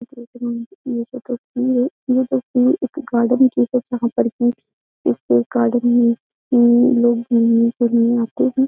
देख रह हैं ये जो तस्वीर है ये तस्वीर एक गार्डन की है जहां पर की इस गार्डन में लोग घूमने के लिए आते हैं।